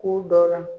K'u dɔ la